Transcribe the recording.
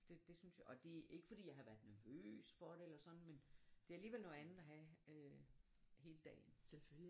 Det det synes jeg og det er ikke fordi jeg har været nervøs for det eller sådan men det er alligevel noget andet at have hele dagen